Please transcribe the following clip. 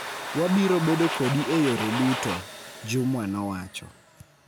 wabiro bedo kodi e yore duto," Jumwa nowacho.